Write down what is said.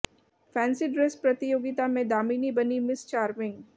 fancy dress प्रतियोगिता में दामिनी बनी मिस चार्मिंग